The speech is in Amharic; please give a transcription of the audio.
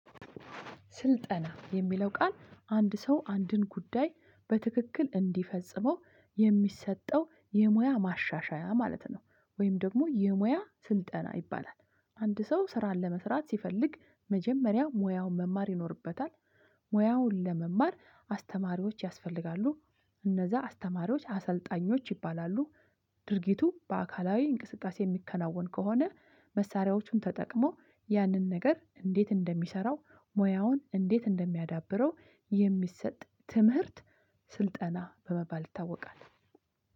ስልጠና የሚለው ቃል አንድ ሰው አንድን ጉዳይ በትክክል እንዲፈጽመው የሚሰጠው የሙያ ማሻሻያ ማለት ነው። ወይም ደግሞ የሙያ ስልጠና ይባላል። አንድ ሰው ስራን ለመስራት ሲፈልግ መጀመሪያ ሙያውን መማር ይኖርበታል። ሙያውን ለመማር አስተማሪዎች ያስፈልጋሉ እነዛ አስተማሪዎች አሰልጣኞች ይባላሉ። ድርጊቱ በአካላዊ እንቅስቃሴ የሚከናወን ከሆነ መሳሪያዎቹን ተጠቅሞ ያንን ነገር እንዴት እንደሚሰራው ሙያውን እንዴት እንደሚያዳብረው የሚሰጥ ትምህርት ስልጠና በመባል ይታወቃል።